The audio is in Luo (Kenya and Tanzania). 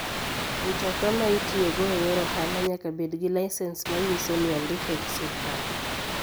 Mtoka ma itiyogo e yor ohala nyaka bed gi lisens manyiso ni ondike gi sirkal.